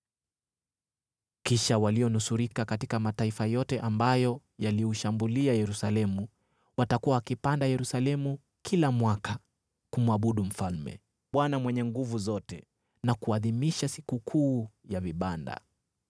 Kisha walionusurika katika mataifa yote ambayo yaliushambulia Yerusalemu watakuwa wakipanda Yerusalemu kila mwaka kumwabudu Mfalme, Bwana Mwenye Nguvu Zote na kuadhimisha Sikukuu ya Vibanda.